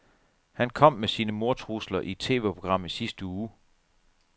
Han kom med sine mordtrusler i et TVprogram i sidste uge.